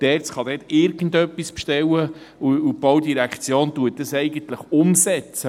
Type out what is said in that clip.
Die ERZ kann irgendetwas bestellen, und eigentlich setzt es die Baudirektion um.